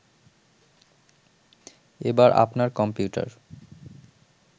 এবার আপনার কম্পিউটার